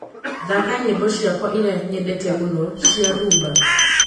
thaaka nyĩmbo ciakwa iria nyedete mũno cia rumba